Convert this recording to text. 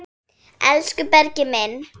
Hvernig leggst það í Blika?